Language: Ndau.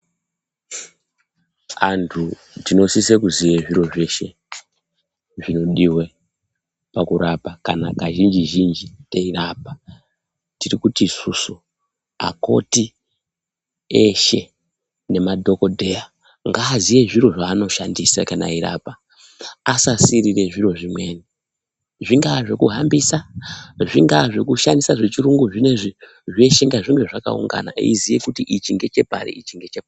Antu tinosise kuziye zviro zveshe zvinodiwe pakurapa kana kazhinjizhinji teirapa tirikuti isusu akoti eshe nemadhokodheya ngaaziye zviro zvaanoshandisa kana eirapa asasiirire zviro zvimweni zvingaa zvekuhambisa ,zvingaa zvekushandisa zvechirungu zvinoizvi eiziye kuti ichi ngechepari ichingechepari.